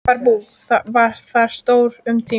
Fjárbú var þar stórt um tíma.